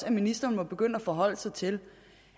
at ministeren må begynde at forholde sig til